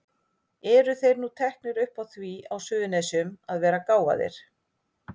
Eru þeir nú teknir upp á því á Suðurnesjum að vera gáfaðir?